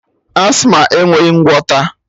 Asthma enweghị ngwọta